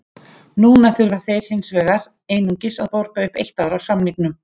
Núna þurfa þeir hins vegar einungis að borga upp eitt ár af samningnum.